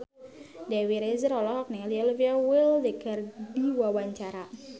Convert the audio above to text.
Dewi Rezer olohok ningali Olivia Wilde keur diwawancara